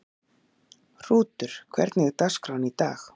Hrútur, hvernig er dagskráin í dag?